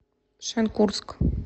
шенкурск